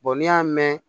n'i y'a mɛn